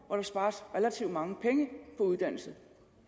hvor der spares relativt mange penge på uddannelse